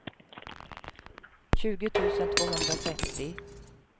tjugo tusen tvåhundratrettio